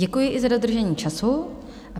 Děkuji i za dodržení času.